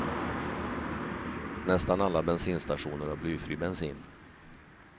Nästan alla bensinstationer har blyfri bensin.